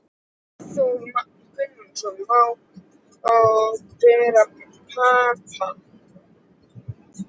Hafþór Gunnarsson: Má brenna pappa?